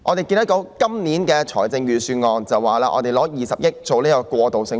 本年的預算案建議預留20億元興建過渡性房屋。